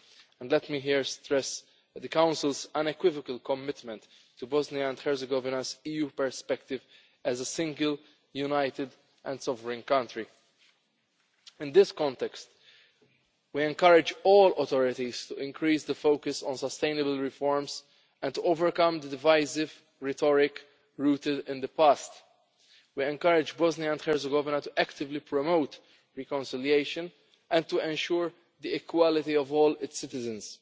And let me stress here the Council's unequivocal commitment to Bosnia and Herzegovina's EU perspective as a single, united and sovereign country. In this context we encourage all authorities to increase the focus on sustainable reforms and to overcome divisive rhetoric rooted in the past. We encourage Bosnia and Herzegovina actively to promote reconciliation and to ensure the equality of all its citizens,